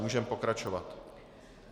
Můžeme pokračovat.